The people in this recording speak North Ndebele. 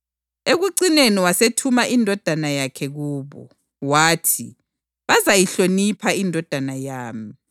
Ekucineni wasethumela indodana yakhe kubo. Wathi, ‘Bazayihlonipha indodana yami.’